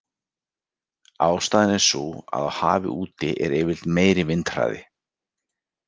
Ástæðan er sú að á hafi úti er yfirleitt meiri vindhraði.